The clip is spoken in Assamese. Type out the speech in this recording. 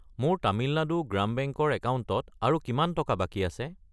মোৰ তামিলনাডু গ্ৰাম বেংক ৰ একাউণ্টত আৰু কিমান টকা বাকী আছে?